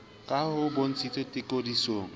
ka ha ho bontshitswe tekodisiksong